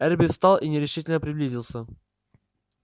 эрби встал и нерешительно приблизился